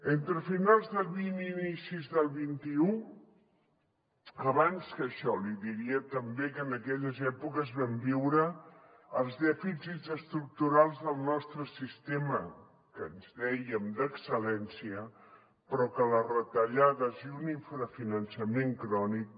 entre finals del xx i inicis del xxilles èpoques vam viure els dèficits estructurals del nostre sistema que en dèiem d’excel·lència però que les retallades i un infrafinançament crònic